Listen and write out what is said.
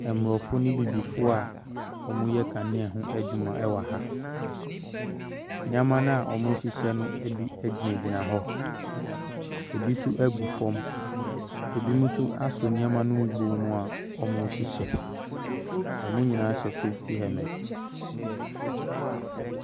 Mmorɔfo ne abibifo a wɔn reyɛ kanea ho adwuma ɛwɔha nneɛma no a wɔn mo rehyehyɛ no bi gyinagyina hɔ ebi nso ɛregu fam ebi nso asɔ nnoɔma no mu a wɔn rehyehyɛ wɔn nyinaa hyɛ suit ɛne helmet.